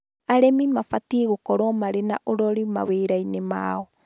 Arĩmi mabatiĩ gũkorwo marĩ na ũrori mawĩrainĩ maao